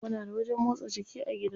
Muna da wajen motsa jiki a gida.